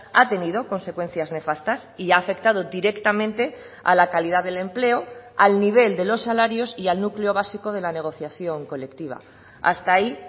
ha tenido consecuencias nefastas y ha afectado directamente a la calidad del empleo al nivel de los salarios y al núcleo básico de la negociación colectiva hasta ahí